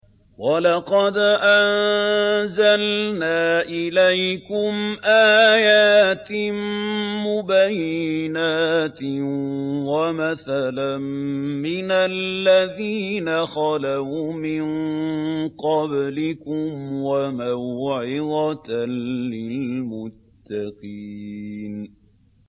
وَلَقَدْ أَنزَلْنَا إِلَيْكُمْ آيَاتٍ مُّبَيِّنَاتٍ وَمَثَلًا مِّنَ الَّذِينَ خَلَوْا مِن قَبْلِكُمْ وَمَوْعِظَةً لِّلْمُتَّقِينَ